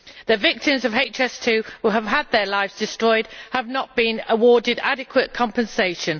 The victims of HS2 who have had their lives destroyed have not been awarded adequate compensation.